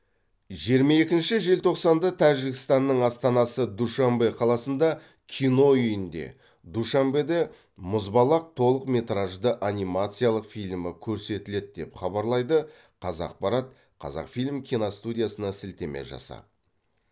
жиырма екінші желтоқсанда тәжікстанның астанасы душанбе қаласындағы кино үйінде душанбеде мұзбалақ толықметражды анимациялық фильмі көрсетіледі деп хабарлайды қазақпарат қазақфильм киностудиясына сілтеме жасап